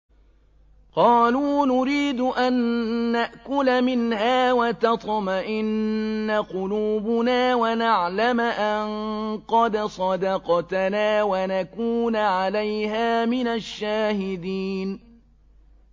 قَالُوا نُرِيدُ أَن نَّأْكُلَ مِنْهَا وَتَطْمَئِنَّ قُلُوبُنَا وَنَعْلَمَ أَن قَدْ صَدَقْتَنَا وَنَكُونَ عَلَيْهَا مِنَ الشَّاهِدِينَ